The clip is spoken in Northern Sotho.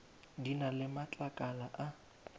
di na le matlakala a